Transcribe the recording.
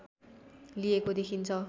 लिएको देखिन्छ